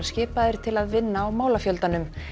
skipaðir til að vinna á málafjöldanum